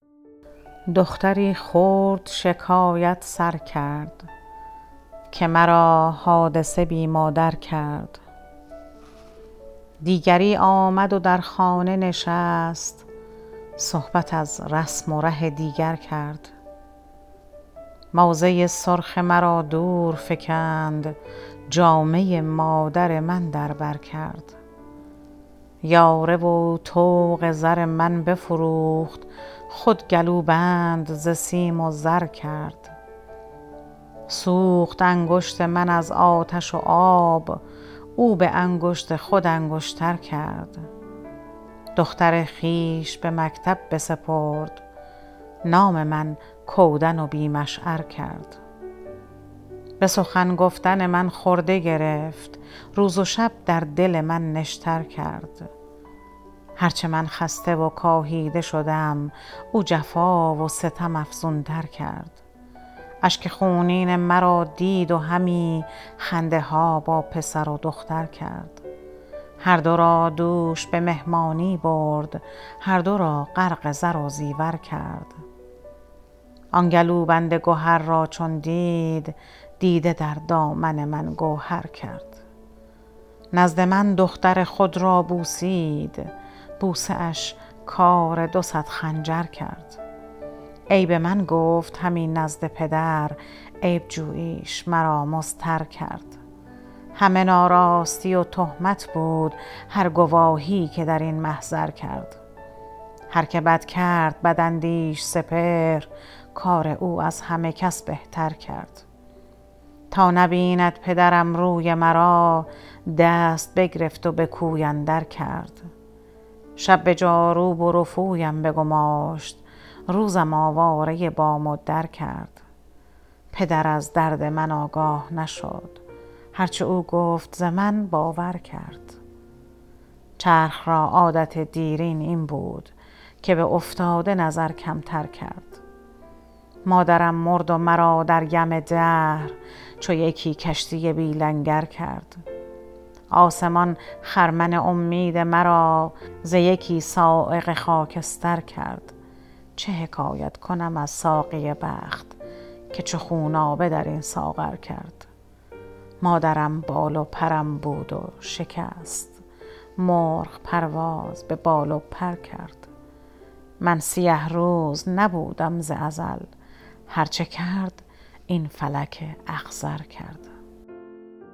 دختری خرد شکایت سر کرد که مرا حادثه بی مادر کرد دیگری آمد و در خانه نشست صحبت از رسم و ره دیگر کرد موزه سرخ مرا دور فکند جامه مادر من در بر کرد یاره و طوق زر من بفروخت خود گلوبند ز سیم و زر کرد سوخت انگشت من از آتش و آب او بانگشت خود انگشتر کرد دختر خویش به مکتب بسپرد نام من کودن و بی مشعر کرد بسخن گفتن من خرده گرفت روز و شب در دل من نشتر کرد هر چه من خسته و کاهیده شدم او جفا و ستم افزونتر کرد اشک خونین مرا دید و همی خنده ها با پسر و دختر کرد هر دو را دوش بمهمانی برد هر دو را غرق زر و زیور کرد آن گلوبند گهر را چون دید دیده در دامن من گوهر کرد نزد من دختر خود را بوسید بوسه اش کار دو صد خنجر کرد عیب من گفت همی نزد پدر عیب جوییش مرا مضطر کرد همه ناراستی و تهمت بود هر گواهی که در این محضر کرد هر که بد کرد بداندیش سپهر کار او از همه کس بهتر کرد تا نبیند پدرم روی مرا دست بگرفت و بکوی اندر کرد شب بجاروب و رفویم بگماشت روزم آواره بام و در کرد پدر از درد من آگاه نشد هر چه او گفت ز من باور کرد چرخ را عادت دیرین این بود که به افتاده نظر کمتر کرد مادرم مرد و مرا در یم دهر چو یکی کشتی بی لنگر کرد آسمان خرمن امید مرا ز یکی صاعقه خاکستر کرد چه حکایت کنم از ساقی بخت که چو خونابه درین ساغر کرد مادرم بال و پرم بود و شکست مرغ پرواز ببال و پر کرد من سیه روز نبودم ز ازل هر چه کرد این فلک اخضر کرد